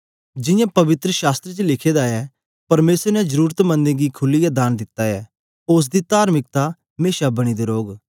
जियां पवित्र शास्त्र च लिखे दा ऐ परमेसर ने जरुरतमंदे गीं खुलीयै दान दित्ता ऐ ओसदी तार्मिकता मेशा बनी दी रौग